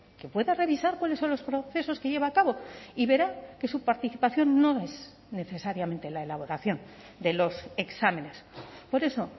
que pueda revisar cuáles son los procesos que lleva a cabo y verá que su participación no es necesariamente la elaboración de los exámenes por eso